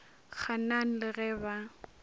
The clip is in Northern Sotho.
gaan aan le ge ba